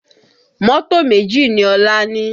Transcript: Mọ́tò méjì ni Ọlá ní